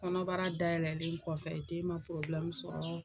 Kɔnɔbara dayɛlɛn kɔfɛ den ma sɔrɔ